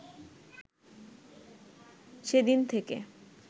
সেদিন থেকে